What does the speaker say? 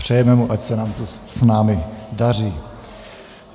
Přejeme mu, ať se nám tu s námi daří.